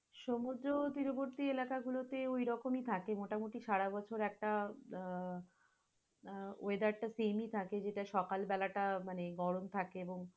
সমুদ্র তীরবর্তী এলাকাগুলো তে ওইরকম থাকে মোটামুটি সারাবছর একটা আহ আহ weather same থাকে, যেটা সকালবেলাটা গরম থাকে এবং